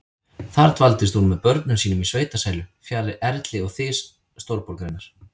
Þar dvaldist hún með börnum sínum í sveitasælu, fjarri erli og þys stórborgarinnar.